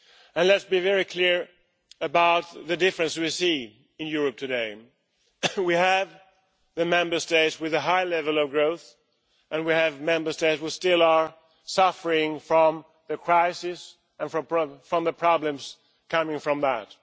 And let's be very clear about the differences we see in Europe today we have Member States with a high level of growth, and we have Member States who are still suffering from the crisis and from the problems coming from that.